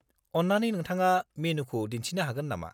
अन्नानै नोंथाङा मेनुखौ दिन्थिनो हागोन नामा?